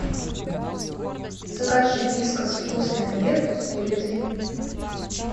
закажи вискас вкусный обед с курицей